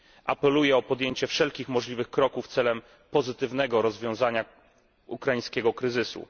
Apeluję o podjęcie wszelkich możliwych kroków celem pozytywnego rozwiązania ukraińskiego kryzysu.